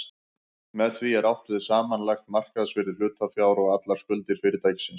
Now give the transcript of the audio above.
Með því er átt við samanlagt markaðsvirði hlutafjár og allar skuldir fyrirtækisins.